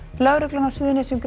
lögreglan á Suðurnesjum greip